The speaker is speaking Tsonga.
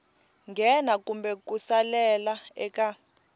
nghena kumbe ku salela eka